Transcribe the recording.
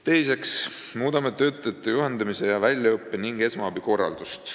Teiseks muudame töötajate juhendamise ja väljaõppe ning esmaabi korraldust.